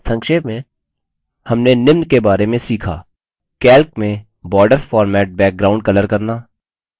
संक्षेप में हमने निम्न बारे में सीखा